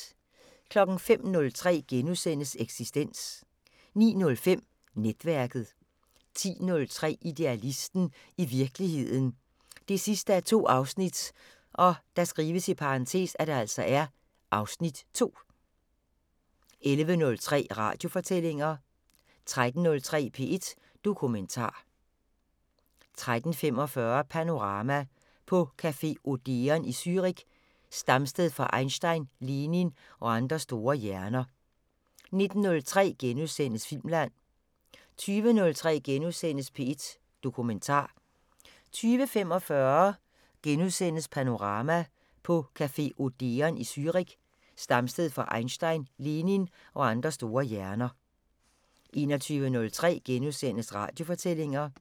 05:03: Eksistens * 09:05: Netværket 10:03: Idealisten – i virkeligheden 2:2 (Afs. 2) 11:03: Radiofortællinger 13:03: P1 Dokumentar 13:45: Panorama: På café Odeon i Zürich, stamsted for Einstein, Lenin og andre store hjerner 19:03: Filmland * 20:03: P1 Dokumentar * 20:45: Panorama: På café Odeon i Zürich, stamsted for Einstein, Lenin og andre store hjerner * 21:03: Radiofortællinger *